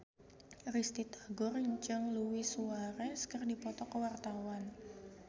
Risty Tagor jeung Luis Suarez keur dipoto ku wartawan